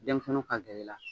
Denmisɛnninw ka gɛrɛ i la